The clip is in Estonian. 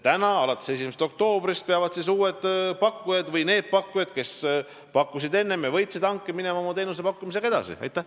Alates 1. oktoobrist peavad need pakkujad, kes võitsid hanke, oma teenusepakkumisega edasi minema.